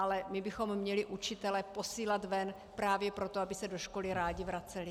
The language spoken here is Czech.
Ale my bychom měli učitele posílat ven právě proto, aby se do školy rádi vraceli.